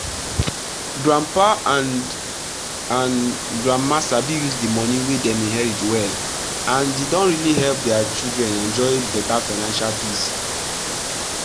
grandpapa and and grandmama sabi use the money wey dem inherit well and e don really help their children enjoy better financial peace.